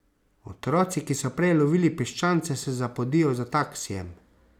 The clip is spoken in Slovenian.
Otroci, ki so prej lovili piščance, se zapodijo za taksijem.